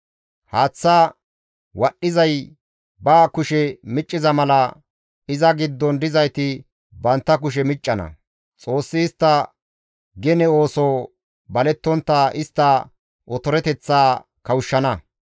Haaththa wadhdhizay ba kushe micciza mala iza giddon dizayti bantta kushe miccana; Xoossi istta gene ooso balettontta istta otoreteththaa kawushshana.